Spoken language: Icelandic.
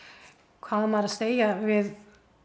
hvað á maður að segja við